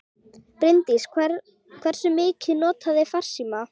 Bryndís: Hversu mikið notarðu farsíma?